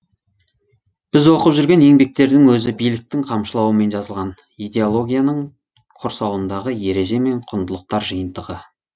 біз оқып жүрген еңбектердің өзі биліктің қамшылауымен жазылған идеологияның құрсауындағы ереже мен құндылықтар жиынтығы